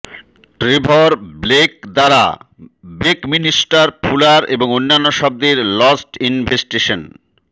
Trevor Blake দ্বারা Buckminster Fuller এবং অন্যান্য শব্দের লস্ট ইনভেষ্টেশন